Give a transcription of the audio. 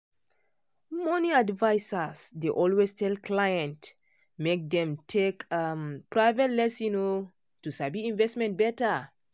money advisers dey always tell clients make dem take um private lesson um to sabi investment better.